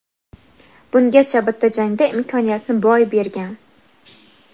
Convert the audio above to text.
Bungacha bitta jangda imkoniyatni boy bergan.